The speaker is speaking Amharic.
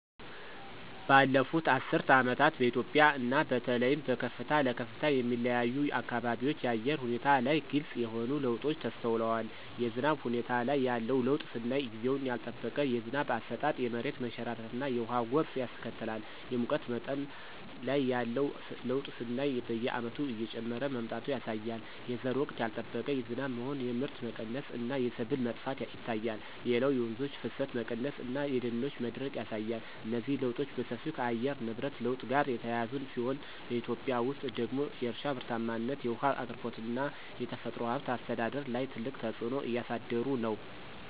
ባለፉት አስርት ዓመታት በኢትዮጵያ እና በተለይም በከፍታ ለከፍታ የሚለያዩ አካባቢዎች የአየር ሁኔታ ላይ ግልጽ የሆኑ ለውጦች ተስተውለዋል። የዝናብ ሁኔታ ላይ ያለው ለውጥ ስናይ ጊዜውን ያልጠበቀ የዝናብ አሰጣጥ የመሬት መንሸራተትና የውሃ ጎርፍ ያስከትላል። የሙቀት መጠን ላይ ያለው ለውጥ ስናይ በየዓመቱ እየጨመረ መምጣቱ ያሳያል። የዘር ወቅት ያልጠበቀ ዝናብ መሆን የምርት መቀነስ እና የሰብል መጥፋት ይታያል። ሌላው የወንዞች ፍሰት መቀነስ እና የደኖች መድረቅ ያሳያል። እነዚህ ለውጦች በሰፊው ከየአየር ንብረት ለውጥ ጋር የተያያዙ ሲሆን፣ በኢትዮጵያ ውስጥ ደግሞ የእርሻ ምርታማነት፣ የውሃ አቅርቦት እና የተፈጥሮ ሀብት አስተዳደር ላይ ትልቅ ተጽዕኖ እያሳደሩ ነው።